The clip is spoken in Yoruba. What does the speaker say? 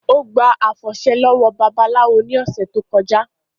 Ó gba àfọ̀ṣẹ lọ́wọ́ babaláwo ní ọ̀sẹ̀ tó kọjá